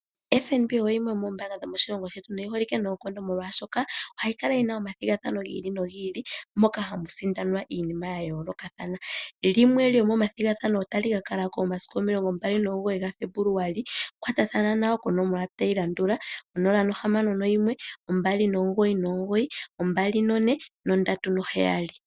FNB oyo yimwe yomoombanga dhomoshilongo shetu noyili yi holike noonkondo molwaashoka ohayi Kala yina omathigathano gi ili nogi ili ,moka hamu sindanwa iinima ya yooloka. Limwe lyomo mathigathano otali ka kalako momasiku omilongombali nomu goyi ga Febuluali kwatathana nayo konomola yongodhi tayi landula 0612992437.